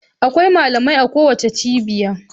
Akwai malamai a kowace cibiya.